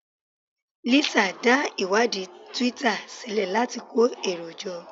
Lisa dá ìwádìí Twitter sílẹ̀ láti kó èrò jọ